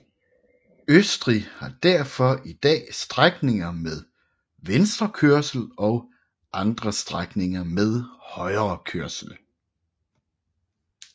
Østrig har derfor i dag strækninger med venstrekørsel og andre strækninger med højrekørsel